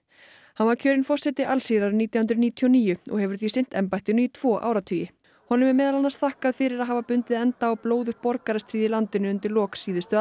hann var kjörinn forseti Alsír árið nítján hundruð níutíu og níu og hefur því sinnt embættinu í tvo áratugi honum er meðal annars þakkað fyrir að hafa bundið enda á blóðugt borgarastríð í landinu undir lok síðustu